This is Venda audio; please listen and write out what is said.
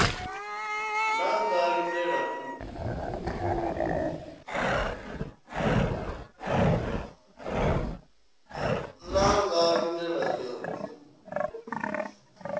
na nga ndila ya u